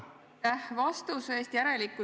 Aitäh vastuse eest!